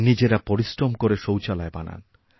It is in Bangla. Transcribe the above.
নিজেরা পরিশ্রম করে শৌচালয় বানান